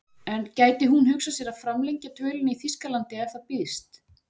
En gæti hún hugsað sér að framlengja dvölinni í Þýskalandi ef það býðst?